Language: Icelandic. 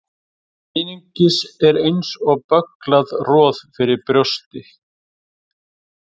Eitthvað er eins og bögglað roð fyrir brjósti